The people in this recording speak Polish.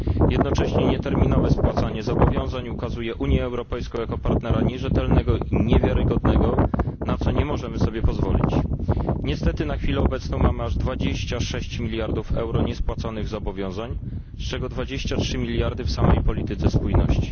Jednocześnie nieterminowe spłacanie zobowiązań ukazuje Unię Europejską jako partnera nierzetelnego, niewiarygodnego, na co nie możemy sobie pozwolić. Niestety, na chwilę obecną mamy aż 26 mld euro niespłaconych zobowiązań, z czego 23 mld w samej polityce spójności.